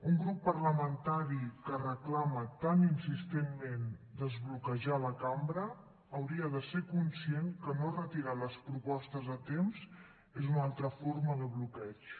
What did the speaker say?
un grup parlamentari que reclama tan insistentment desbloquejar la cambra hauria de ser conscient que no retirar les propostes a temps és una altra forma de bloqueig